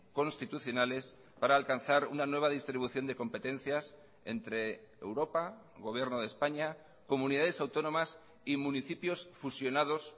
constitucionales para alcanzar una nueva distribución de competencias entre europa gobierno de españa comunidades autónomas y municipios fusionados